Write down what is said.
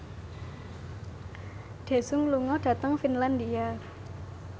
Daesung lunga dhateng Finlandia